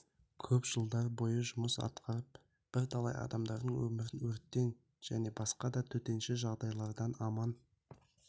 көп жылдар бойы жұмыс атқарып бірталай адамдардың өмірін өрттен және басқа да төтенше жағдайлардан аман